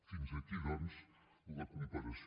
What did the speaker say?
fins aquí doncs la comparació